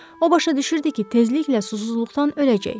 O başa düşürdü ki, tezliklə susuzluqdan öləcək.